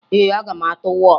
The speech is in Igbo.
Ee, aga m atụ wọọtụ